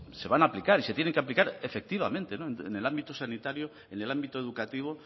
se van a aplicar y se tienen que aplicar efectivamente en el ámbito sanitario en el ámbito educativo